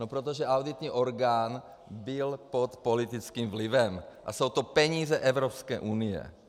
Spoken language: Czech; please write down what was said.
No protože auditní orgán byl pod politickým vlivem, a jsou to peníze Evropské unie.